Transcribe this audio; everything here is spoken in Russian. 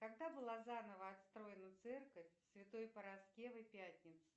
когда была заново отстроена церковь святой параскевы пятницы